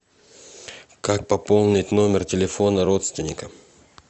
как пополнить номер телефона родственника